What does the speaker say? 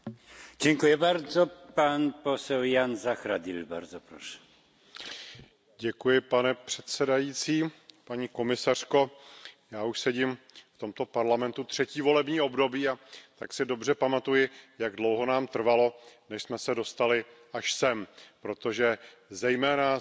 Pane předsedající, paní komisařko, já už sedím v tomto Parlamentu třetí volební období, a tak si dobře pamatuji, jak dlouho nám trvalo, než jsme se dostali až sem, protože zejména se Smlouvou o volném obchodu mezi Evropskou unií a Singapurem tady žijeme už od minulého volebního období.